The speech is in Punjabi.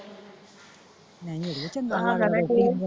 ਨਹੀਂ ਅੜੀਏ ਚੰਗਾ .